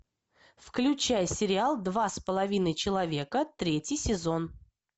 включай сериал два с половиной человека третий сезон